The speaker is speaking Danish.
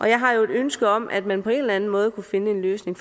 jeg har jo et ønske om at man på en eller anden måde kunne finde en løsning